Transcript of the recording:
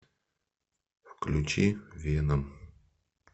включи веном